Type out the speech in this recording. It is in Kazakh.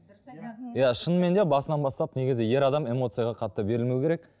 иә шынымен де басынан бастап негізі ер адам эмоцияға қатты берілмеу керек